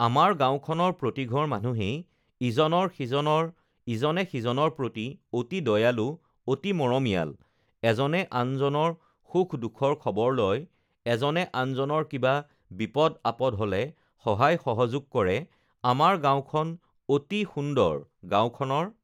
আমাৰ গাঁওখনৰ প্ৰতিঘৰ মানুহেই ইজনৰ-সিজনৰ ইজনে-সিজনৰ প্ৰতি অতি দয়ালু, অতি মৰমীয়াল, এজনে আনজনৰ সুখ-দুখৰ খবৰ লয়, এজনে আনজনৰ কিবা বিপদ-আপদ হ'লে সহায়-সহযোগ কৰে, আমাৰ গাঁওখন অতি সুন্দৰ, গাঁওখনৰ